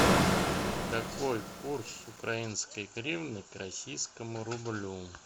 какой курс украинской гривны к российскому рублю